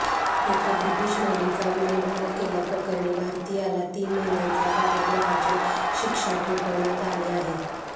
एका ब्रिटीश महिलेचा विनयभंग केल्याप्रकरणी भारतीयाला तीन महिन्यांचा कारागृहाची शिक्षा ठोठावण्यात आली आहे